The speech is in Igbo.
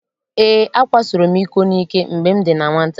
Ee, akwasoro m iko n'ike mgbe m dị na nwata.